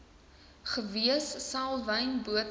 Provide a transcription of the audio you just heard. gewees selwyn botha